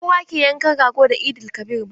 Ba kowa ke yankan rago da Eid-el-kabir ba.